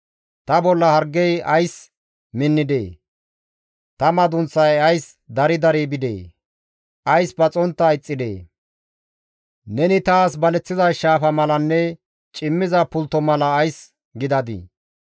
Ta bolla hargey ays minnidee? Ta madunththay ays dari dari bidee? Ays paxontta ixxidee? Neni taas baleththiza shaafa malanne cimmiza pultto mala ays gidadii?